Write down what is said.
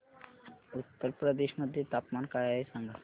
उत्तर प्रदेश मध्ये तापमान काय आहे सांगा